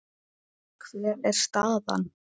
Hver er staðan?